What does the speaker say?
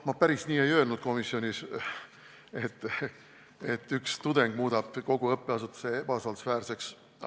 Ma päris nii ei öelnud komisjonis, et üks tudeng muudab kogu õppeasutuse ebausaldusväärseks.